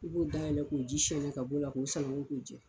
U b'o dayɛlɛ k'o ji sɔni ka b'o la, k'u sananko k'u jɛ